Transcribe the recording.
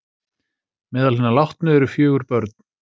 Meðal hinna látnu eru fjögur börn